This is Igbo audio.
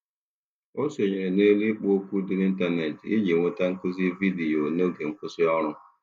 Ọ sonyeere n'elu ikpo okwu dị n'ịntanetị iji nweta nkuzi vidiyo n'oge nkwụsị ọrụ.